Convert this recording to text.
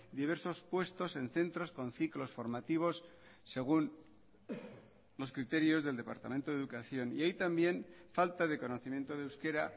diversos puestos en centros con ciclos formativos según los criterios del departamento de educación y hay también falta de conocimiento de euskera